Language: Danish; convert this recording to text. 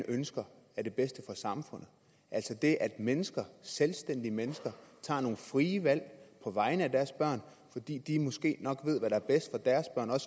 ønsker er det bedste for samfundet altså det at mennesker selvstændige mennesker tager nogle frie valg på vegne af deres børn fordi de måske nok ved hvad der er bedst for deres børn og